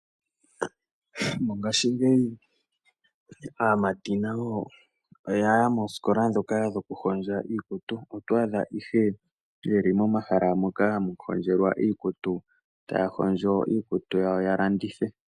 Mongashingeyi aamati nayo oya ya moosikola ndhoka dhoku hondja iikutu. Oto adha ihe ye li momahala moka hamu hondjelwa iikutu, ta ya hondjo iikutu yawo ya landithe.